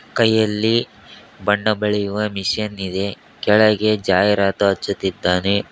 ಕೈಯಲ್ಲಿ ಬಣ್ಣ ಬಳಿಯುವ ಮಿಷನ್ ಇದೆ ಕೆಳಗೆ ಜಾಹೀರಾತು ಹಚ್ಚುತ್ತಿದ್ದಾನೆ.